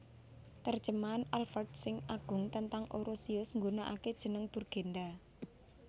Terjemahan Alfred sing Agung tentang Orosius nggunake jeneng Burgenda